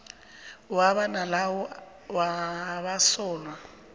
wabo nalawo wabasolwa